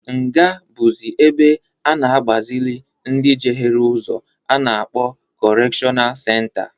Nga bụzị ebe a na-agbazịlị ndị jehere ụzọ a na-akpọ kọrekshọnal senta.